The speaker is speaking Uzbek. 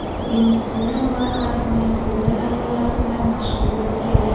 Venesuela har doim go‘zal ayollari bilan mashhur bo‘lib kelgan.